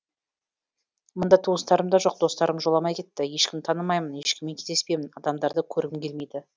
мұнда туыстарым да жоқ достарым жоламай кетті ешкімді танымаймын ешкіммен кездеспеймін адамдарды көргім келмейді